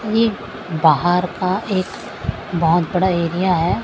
ये बाहर का एक बहुत बड़ा एरिया है।